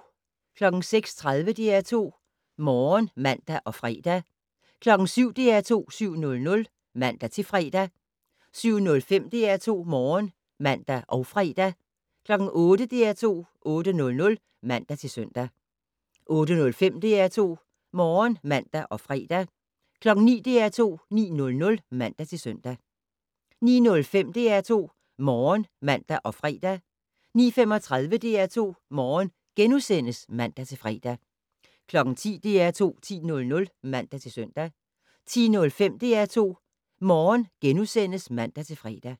06:30: DR2 Morgen (man og fre) 07:00: DR2 7:00 (man-fre) 07:05: DR2 Morgen (man og fre) 08:00: DR2 8:00 (man-søn) 08:05: DR2 Morgen (man og fre) 09:00: DR2 9:00 (man-søn) 09:05: DR2 Morgen (man og fre) 09:35: DR2 Morgen *(man-fre) 10:00: DR2 10:00 (man-søn) 10:05: DR2 Morgen *(man-fre)